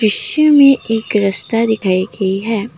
दृश्य में एक रास्ता दिखाइए गई है।